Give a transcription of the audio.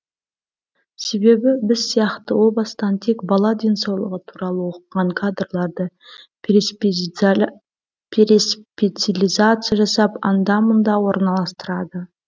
себебі біз сияқты о бастан тек бала денсаулығы туралы оқыған кадрларды переспециализация жасап анда мында орналастырады